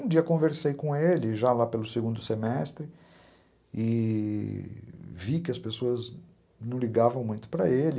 Um dia eu conversei com ele, já lá pelo segundo semestre, e vi que as pessoas não ligavam muito para ele.